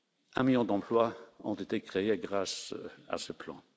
Un million d'emplois ont été créés grâce à ce plan.